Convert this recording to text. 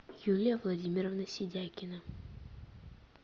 юлия владимировна сидякина